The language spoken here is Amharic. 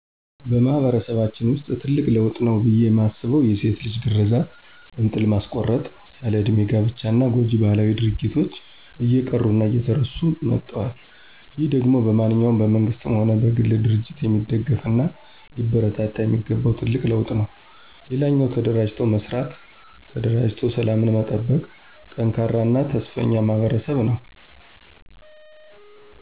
በማህበረሰባችን ውስጥ ትልቅ ለውጥ ነው ብየ ማስበው የሴት ልጅ ግረዛት፣ እንጥል ማስቆረጥ፣ ያለ እድሜ ጋብቻ እና ጎጅ ባህላዊ ድርጊቶች እየቀሩ እና እየተረሱ መጠዋል። ይህ ደሞ በማንኛውም በመንግስትም ሆነ በግል ድርጅት የሚደገፍ እና ሊበረታታ የሚገባው ትልቅ ለውጥ ነው። ሌላኛው ተደራጅተው መስራት፣ ተደራጅተው ሰላምን መጠበቅ፣ ጠንካራ እና ተስፈኛ ማህበረሰብ ነው።